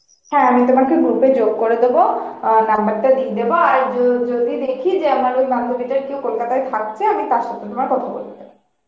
হ্যাঁ আমি তোমাকে group এ যোগ করে দোবো অ্যাঁ number টা দিয়ে দেবো আর যদি দেখি আমার ওই বান্ধবিটার কেউ Kolkata এ থাকছে আমি তারসাথে তোমার কথা বলিয়ে দোবো